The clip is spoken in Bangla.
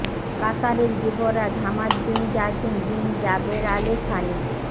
কাতারের যুবরাজ Hamad bin Jassim bin Jaber Al Sunny